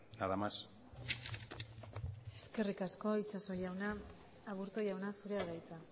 nada más eskerrik asko itxaso jauna aburto jauna zurea da hitza